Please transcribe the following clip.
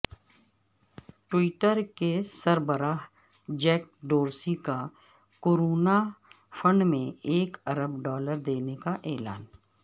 Twitter کے سربراہ Jack Dorsey کا کورونا فنڈ میں ایک ارب ڈالر دینے کا اعلان